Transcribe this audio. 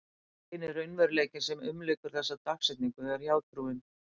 Eini raunveruleikinn sem umlykur þessa dagsetningu er hjátrúin.